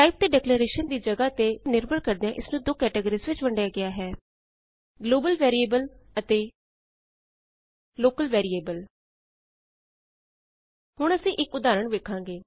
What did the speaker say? type ਅਤੇ declaration ਦੀ ਜਗਾਹ ਤੇ ਨਿਰਭਰ ਕਰਦਿਆਂ ਇਸ ਨੂੰ ਦੋ ਕੈਟਾਗਰੀਸ ਵਿਚ ਵੰਡਿਆ ਗਿਆ ਹੈ ਗਲੋਬਲ ਵੇਰੀਏਬਲ ਗਲੋਬਲ ਵੈਰੀਏਬਲ ਅਤੇ ਲੋਕਲ ਵੇਰੀਏਬਲ ਲੋਕਲ ਵੈਰੀਏਬਲ ਹੁਣ ਅਸੀਂ ਇਕ ਉਦਾਹਰਣ ਵੇਖਾਂਗੇ